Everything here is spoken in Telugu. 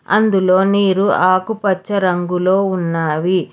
అందులో నీరు ఆకుపచ్చ రంగులో ఉన్నవి.